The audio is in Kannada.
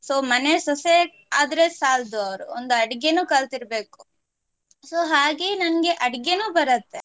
So ಮನೆ ಸೊಸೆ ಆದ್ರೆ ಸಾಲ್ದು ಅವ್ರು ಒಂದು ಅಡಿಗೇನು ಕಲ್ತಿರ್ಬೇಕು so ಹಾಗೆ ನನ್ಗೆ ಅಡಿಗೇನು ಬರತ್ತೆ.